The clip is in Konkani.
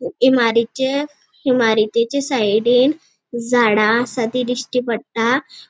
इमारिचे इमारितेचे साइडीन झाड़ा आसा ती दिश्टी पट्टा.